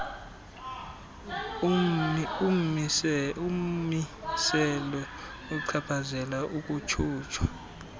ummiselo ochaphazela ukutyunjwa